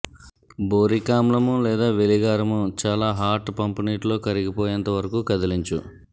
boric ఆమ్లం లేదా వెలిగారము చాలా హాట్ పంపు నీటిలో కరిగిపోయేంత వరకు కదిలించు